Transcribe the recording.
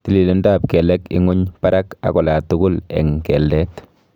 Tililindo ap kelek inguny, parak and olatugul eng keldet